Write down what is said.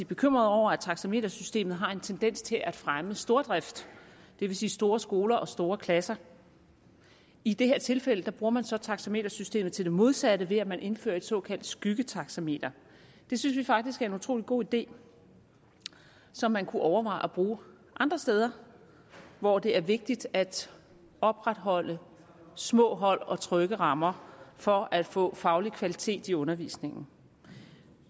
bekymrede over at taxametersystemet har en tendens til at fremme stordrift det vil sige store skoler og store klasser i det her tilfælde bruger man så taxametersystemet til det modsatte ved at man indfører et såkaldt skyggetaxameter det synes vi faktisk er en utrolig god idé som man kunne overveje at bruge andre steder hvor det er vigtigt at opretholde små hold og trygge rammer for at få faglig kvalitet i undervisningen